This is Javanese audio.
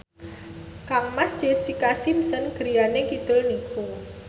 kangmas Jessica Simpson griyane kidul niku